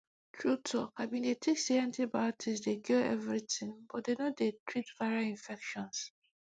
true talki bin dey think say antibiotics dey cure everything but dem no dey treat viral infections